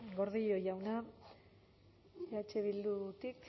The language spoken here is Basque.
gordillo jauna eh bildutik